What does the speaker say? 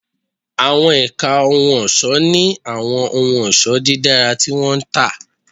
Àwọn ẹ̀ka ohun ọ̀ṣọ́ ní àwọn ohun ọ̀ṣọ́ dídára tí wọ́n ń tà